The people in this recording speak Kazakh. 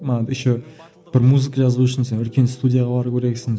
мына еще бір музыка жазу үшін сен үлкен студияға бару керексің